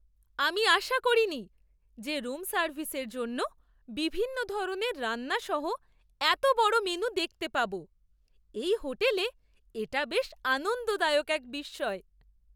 আমি আশা করিনি যে রুম সার্ভিসের জন্য বিভিন্ন ধরণের রান্না সহ এত বড় মেনু দেখতে পাব। এই হোটেলে এটা বেশ আনন্দদায়ক এক বিস্ময়!